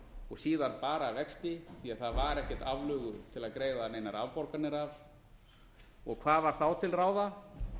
og síðar bara vexti því það var ekkert aflögu til að greiða neinar afborganir af og hvað var þá til ráða